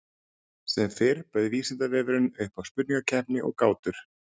Sem fyrr bauð Vísindavefurinn upp á spurningakeppni og gátur.